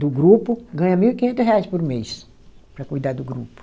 do grupo, ganha mil e quinhentos reais por mês para cuidar do grupo.